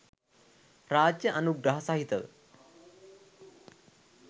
රාජ්‍ය අනුග්‍රහ සහිතව